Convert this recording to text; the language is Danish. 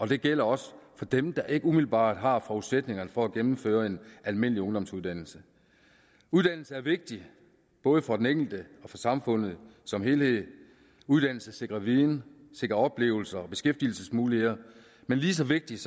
det gælder også for dem der ikke umiddelbart har forudsætningerne for at gennemføre en almindelig ungdomsuddannelse uddannelse er vigtigt både for den enkelte og for samfundet som helhed uddannelse sikrer viden sikrer oplevelser og beskæftigelsesmuligheder men lige så vigtigt